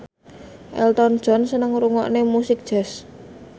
Elton John seneng ngrungokne musik jazz